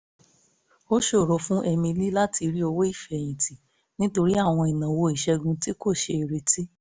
ó ṣòro fún emily láti rí owó ìfẹ̀yìn tì nítorí àwọn ìnáwó ìṣègùn tí kò ṣeé retí